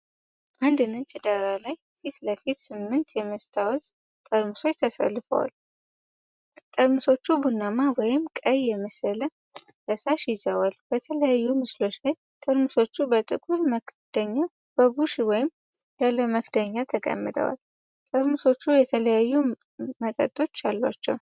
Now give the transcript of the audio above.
አንድ ነጭ ዳራ ፊት ለፊት፣ ስምንት የመስታወት ጠርሙሶች ተሰልፈው ቀርበዋል። ጠርሙሶቹ ቡናማ ወይም ቀይ የመሰለ ፈሳሽ ይዘዋል። በተለያዩ ምስሎች ላይ ጠርሙሶች በጥቁር መክደኛ፣ በቡሽ ወይም ያለ መክደኛ ተቀምጠዋል። ጠርሙሶቹ የተለያዩ መጠኖች አሏቸው።